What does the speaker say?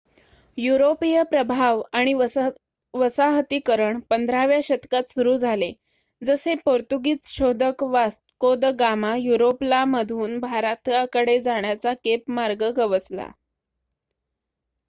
युरोपीय प्रभाव आणि वसाहतीकरण 15 व्या शतकात सुरु झाले जसे पोर्तुगीझ शोधक वास्को द गामा ला युरोप मधून भारताकडे जाण्याचा केप मार्ग गवसला